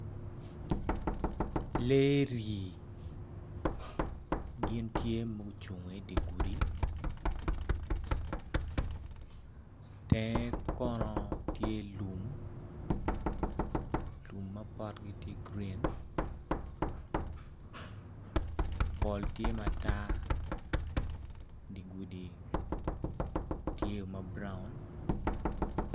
Lee rii gin tye ma gucungo idye gudi tenge kono tye lum , lum ma potgi tye gurin pol tye matar dye gudi tye mabrown